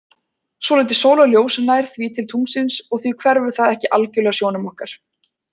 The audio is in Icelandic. Svolítið sólarljós nær því til tunglsins og því hverfur það ekki algjörlega sjónum okkar.